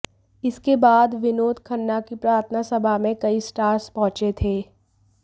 इसके बाद विनोद खन्ना की प्रार्थना सभा में कई स्टार्स पहुंचे थे